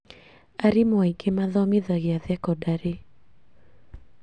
Arimũ aingĩ mathomithagĩa thekondarĩ